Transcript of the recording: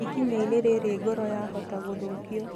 Ikinyainĩ rĩrĩ ngoro ya hota gũthũkio